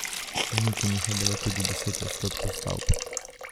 Uničenih je bilo tudi deset odstotkov stavb.